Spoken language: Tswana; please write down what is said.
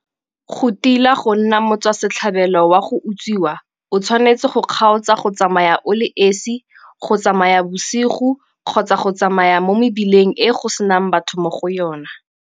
Go tila go nna motswa setlhabelo wa go utswiwa o tshwanetse go kgaotsa go tsamaya o le esi, go tsamaya bosigo kgotsa go tsamaya mo mebileng e go senang batho mo go yona.